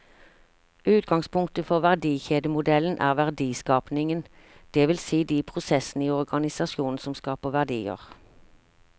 Utgangspunktet for verdikjedemodellen er verdiskapingen, det vil si de prosessene i organisasjonen som skaper verdier.